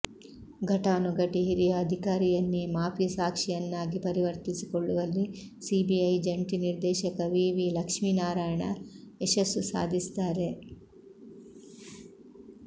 ಘಟಾನುಘಟಿ ಹಿರಿಯ ಅಧಿಕಾರಿಯನ್ನೇ ಮಾಫಿ ಸಾಕ್ಷಿಯನ್ನಾಗಿ ಪರಿವರ್ತಿಸಿಕೊಳ್ಳುವಲ್ಲಿ ಸಿಬಿಐ ಜಂಟಿ ನಿರ್ದೇಶಕ ವಿವಿ ಲಕ್ಷ್ಮಿನಾರಾಯಣ ಯಶಸ್ಸು ಸಾಧಿಸಿದ್ದಾರೆ